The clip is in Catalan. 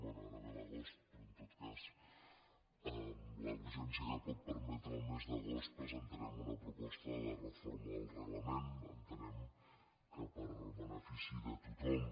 bé ara ve l’agost però en tot cas amb la urgència que pot permetre el mes d’agost presentarem una proposta de reforma del reglament entenem que en benefici de tothom